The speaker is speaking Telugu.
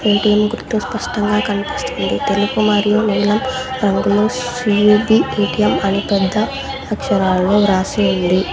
ఏ_టీ_ఎం గుర్తు స్పష్టంగా కన్పిస్తుంది తెలుపు మరియు నీలం రంగులో సి_యు_పి ఎ_టి_ఎం అని పెద్ద అక్షరాలలో వ్రాసి ఉంది.